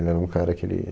Ele era um cara que ele...